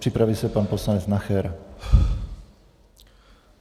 Připraví se pan poslanec Nacher.